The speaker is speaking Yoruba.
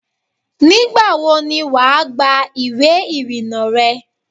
Nígbàwo ni wà á gba ìwé ìrìnnà rẹ?